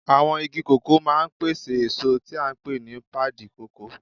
Àwọn igi kòkó máa ń pèsè èso tí a pè ní pádi kòkó.